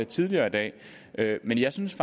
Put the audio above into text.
tidligere i dag men jeg synes